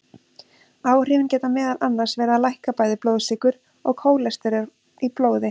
Áhrifin geta meðal annars verið að lækka bæði blóðsykur og kólesteról í blóði.